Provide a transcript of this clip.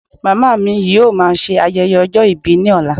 Màmá mi yóò má ṣe ayẹyẹ ọjọ́ ìbí ni ọlá